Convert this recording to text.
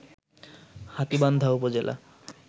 হাতীবান্ধা উপজেলা